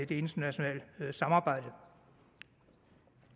det internationale samarbejde